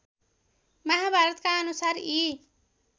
महाभारतका अनुसार यी